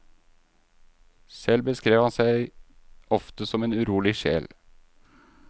Selv beskrev han seg ofte som en urolig sjel.